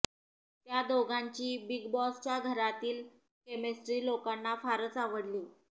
त्या दोघांची बिग बॉसच्या घरातील केमिस्ट्री लोकांना फारच आवडली